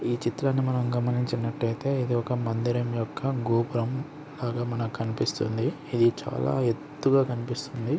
ఈ చిత్రాన్ని మనం గమనించినట్లయితే ఇది ఒక మందిరం యొక్క గోపురం. అలా మనకు కనిపిస్తుంది. ఇది చాలా ఎత్తుగా కనిపిస్తుంది.